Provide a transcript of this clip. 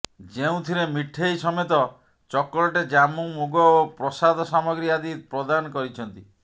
ଯେଉଁଥିରେ ମିଠେଇ ସମେତ ଚକୋଲେଟ ଜାମୁ ମୁଗ ଓ ପ୍ରସାଦ ସାମଗ୍ରୀ ଆଦି ପ୍ରଦାନ କରିଛନ୍ତି